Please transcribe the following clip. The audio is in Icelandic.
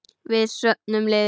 Við söfnum liði.